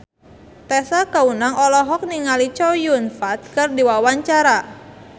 Tessa Kaunang olohok ningali Chow Yun Fat keur diwawancara